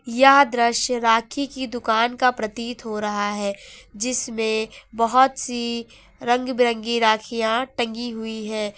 यह दृश्य राखी की दुकान का प्रतीत हो रहा है जिसमें बहुत सी रंग बिरंगी राखियां टंगी हुई हैं।